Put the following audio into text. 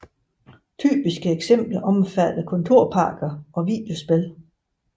Typiske eksempler omfatter kontorpakker og videospil